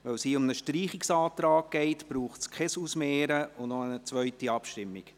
Weil es hier um einen Streichungsantrag geht, braucht es kein Ausmehren und keine zweite Abstimmung.